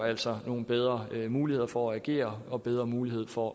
altså får nogle bedre muligheder for at agere og bedre mulighed for